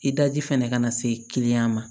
I daji fɛnɛ ka na se ma